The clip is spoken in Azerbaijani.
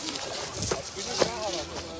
Qardaş, sən hara idi?